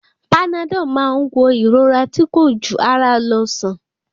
Panadọ́ọ̀ má ń wo ìrora tí kò jù ara lọ sàn.